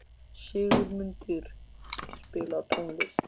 Sigurmundur, spilaðu tónlist.